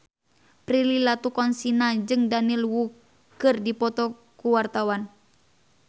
Prilly Latuconsina jeung Daniel Wu keur dipoto ku wartawan